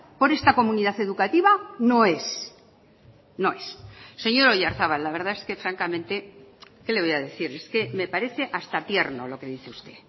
por esta comunidad educativa no es no es señor oyarzabal la verdad es que francamente qué le voy a decir es que me parece hasta tierno lo que dice usted